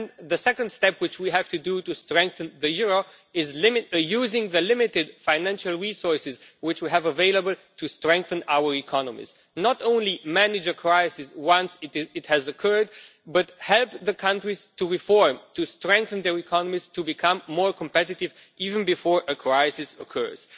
The second step which we have to take to strengthen the euro is use the limited financial resources which we have available to strengthen our economies, not just manage a crisis once it has occurred but help the countries to reform, to strengthen their economies, to become more competitive even before a crisis occurs.